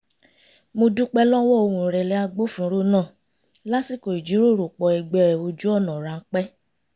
mo dúpẹ́ lọ́wọ́ ohùn ìrẹ̀lẹ̀ agbófinró náà lásìkò ìjíròròpọ̀ ẹ̀gbẹ́ ojú ọ̀nà ráńpẹ́